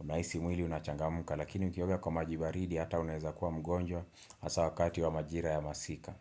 unahisi mwili unachangamka lakini ukioga kwa maji baridi hata unaeza kuwa mgonjwa hasa wakati wa majira ya masika.